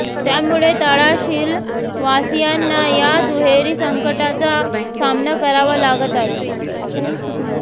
त्यामुळे तळाशिलवासीयांना या दुहेरी संकटाचा सामना करावा लागत आहे